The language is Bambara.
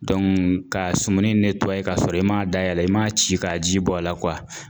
ka sumuni kasɔrɔ i m'a dayɛlɛ i m'a ci k'a ji bɔ a la